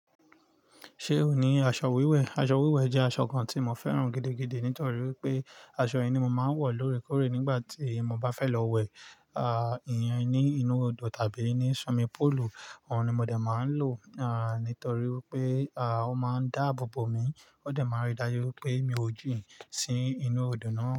Ṣé o ní aṣọ wíwẹ̀? Aṣọ wíwẹ̀ jẹ́ aṣọ kan tí mo fẹ́ràn gidigidi nítorí wipé aṣọ yi ni mo máa ń wọ̀ lóorèkóorè nígbà tí mo bá fẹ́ lọ wẹ̀, ìyẹn ní inú odò tàbí ní swimming pool. Òhun ni mo dè máa ń lò, nítorí wipé, à, ó máa ń dáàbò bo mi. Ó de máa ń rí dájú wipé mi ò jín sí inú odò náà.